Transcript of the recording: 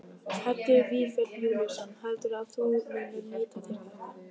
Helgi Vífill Júlíusson: Heldurðu að þú munir nýta þér þetta?